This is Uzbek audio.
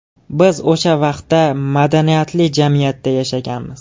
Biz o‘sha vaqtda madaniyatli jamiyatda yashaganmiz!